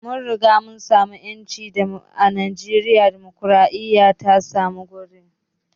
Mun riga mun samu ƴanci a najeriya, dimokraɗiya ta samu wuri